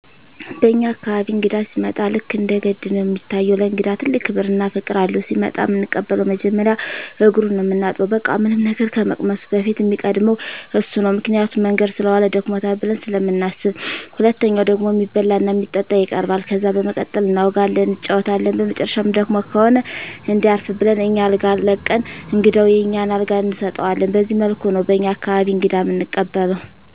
በኛ አካባቢ እንግዳ ሲመጣ ልክ እንደ ገድ ነው እሚታየው። ለእንግዳ ትልቅ ክብር እና ፍቅር አለው። ሲመጣ እምንቀበለው መጀመሪያ እግሩን ነው ምናጥበው በቃ ምንም ነገር ከመቅመሱ በፊት እሚቀድመው እሱ ነው ምክንያቱም መንገድ ሰለዋለ ደክሞታል ብለን ስለምናስብ። ሁለተኛው ደግሞ እሚበላ እና እሚጠጣ ይቀርባል። ከዛ በመቀጠል እናወጋለን እንጫወታለን በመጨረሻም ደክሞት ከሆነ እንዲያርፍ ብለን አኛ አልጋ ለቀን እንግዳውን የኛን አልጋ እንሰጠዋለን በዚህ መልኩ ነው በኛ አካባቢ እንግዳ እምንቀበለው።